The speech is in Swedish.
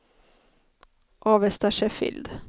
Avesta Sheffield